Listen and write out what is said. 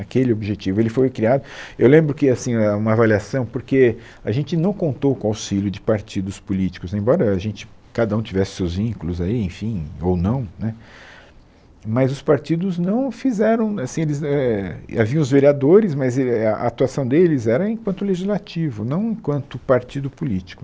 Aquele objetivo, ele foi criado, eu lembro que assim, uma avaliação, porque a gente não contou com o auxílio de partidos políticos, embora a gente, cada um tivesse seus vínculos aí, enfim, ou não né, mas os partidos não fizeram, assim, eles eh haviam os vereadores, mas eh a atuação deles era enquanto legislativo, não enquanto partido político.